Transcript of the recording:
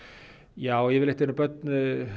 já yfirleitt eru börn